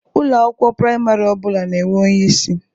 Ụlọ akwụkwọ praịmarị ọ bụla na-enwe onyeisi.